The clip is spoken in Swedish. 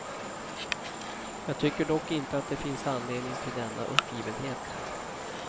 Jag tycker dock inte att det finns anledning till denna uppgivenhet.